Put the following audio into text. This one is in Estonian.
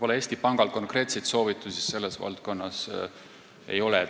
Eesti Pangal konkreetseid soovitusi selles valdkonnas ei ole.